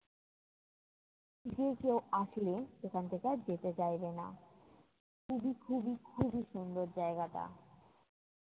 যে কেউ আসলে সেখান থেকে আর যেতে চাইবে না। খুবই খুবই খুবই সুন্দর জায়গাটা!